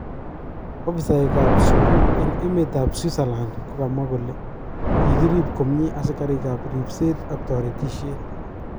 Ofisaek kap sukul eng emet ab Switzerland kokamwa kole kikirib komie asikarik kap rilset ak toretishet.